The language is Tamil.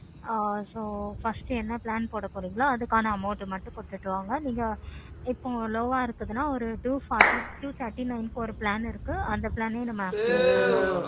ஆஹ் so first என்ன plan போடா போடுறிங்களோ அதுக்கான amount ஆஹ் மட்டும் கொடுத்துருங்க. இப்போ low ஆஹ் இருந்துச்சுன்னா two thirty nine plan இருக்குது. அந்த plan ஏ நம்ம activate பண்ணலாம்.